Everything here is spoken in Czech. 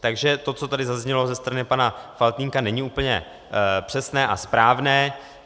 Takže to, co tady zaznělo ze strany pana Faltýnka, není úplně přesné a správné.